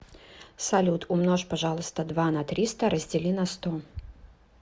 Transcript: салют умножь пожалуйста два на триста раздели на сто